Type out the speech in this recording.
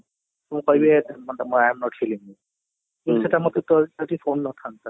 ମୁଁ କହିଲି ମୋତେ ସେଇଟା ମୋତେ କମ ନ ଥାଆନ୍ତା